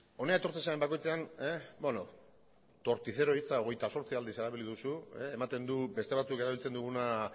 hona etortzen zaren bakoitzean beno torticero hitza hogeita zortzi aldiz erabili duzu ematen du beste batzuk erabiltzen duguna